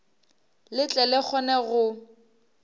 le tle le kgone go